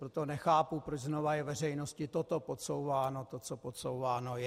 Proto nechápu, proč znovu je veřejnosti toto podsouváno, to, co podsouváno je.